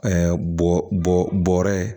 bɔ bɔɔrɔ ye